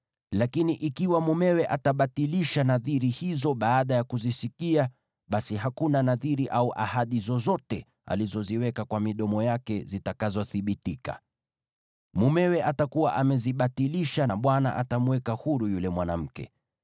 Lakini ikiwa mumewe atabatilisha nadhiri hizo baada ya kuzisikia, basi hakuna nadhiri au ahadi zozote alizoziweka kwa midomo yake zitakazothibitika. Mumewe atakuwa amezibatilisha, na Bwana atamweka huru yule mwanamke.